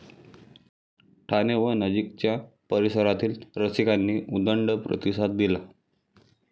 ठाणे व नजीकच्या परिसरातील रसिकांनी उदंड प्रतिसाद दिला.